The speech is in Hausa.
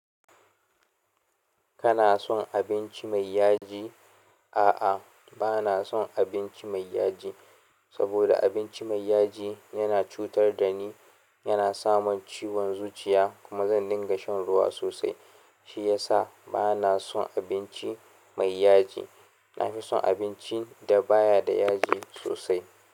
Kana son abinci mai yaji? A'a, bana son abinci mai yaji, saboda abinci mai yaji yana cutar da ni, yana samin ciwon zuciya, kuma zan dinga shan ruwa sosai. Shi ya sa bana son abinci mai yaji. Nafi son abinci da baya da yaji sosai.